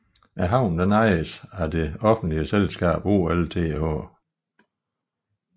Havnen ejes af det offentlige selskab OLTH